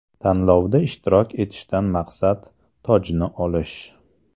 Tanlovda ishtirok etishdan maqsad: tojni olish.